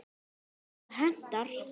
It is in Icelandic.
ef það hentar!